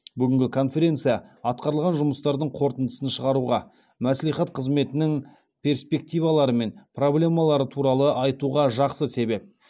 бүгінгі конференция атқарылған жұмыстардың қорытындысын шығаруға мәслихат қызметінің перспективалары мен проблемалары туралы айтуға жақсы себеп